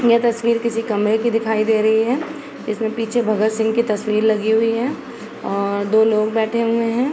यह तस्वीर किसी कमरे की दिखाई दे रही है। इसमे पीछे भगत सिंह की तस्वीर लागी हुई है और दो लोग बैठे हुऐ हैं।